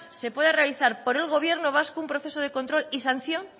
se pueda realizar por el gobierno vasco un proceso de control y sanción